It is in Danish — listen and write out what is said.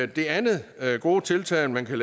det andet gode tiltag man kan